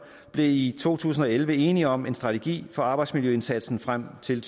blev i to tusind og elleve enige om en strategi for arbejdsmiljøindsatsen frem til